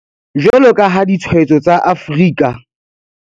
Jwalo ka ha ditshwaetso tsa Afrika